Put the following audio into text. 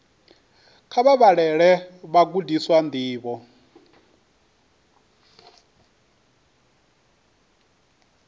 kha vha vhalele vhagudiswa ndivho